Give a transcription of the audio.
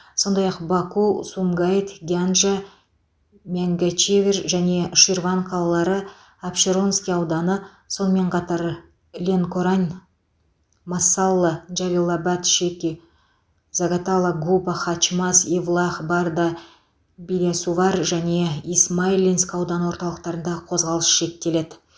сондай ақ баку сумгайыт гянджа мингячевир және ширван қалалары апшеронский ауданы сонымен қатар ленкорань масаллы джалилабад шеки загатала губа хачмаз евлах барда билясувар және исмаиллинск аудан орталықтарындағы қозғалыс шектеледі